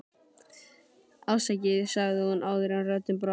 afsakið, sagði hún áður en röddin brast.